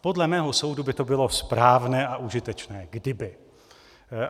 Podle mého soudu by to bylo správné a užitečné, kdyby.